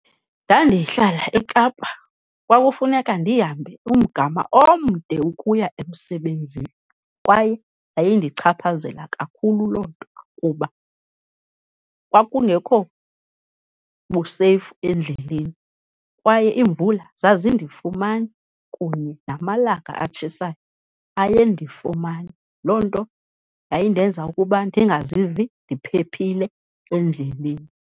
Ndandihlala eKapa kwakufuneka ndihambe umgama omde ukuya emsebenzini kwaye yayindichaphazela kakhulu loo nto kuba kwakungekho buseyifu endleleni, kwaye iimvula zazindifumana kunye namalanga atshisayo ayendifumana. Loo nto yayindenza ukuba ndingazivi ndiphephile endleleni.